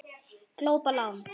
Glópa lán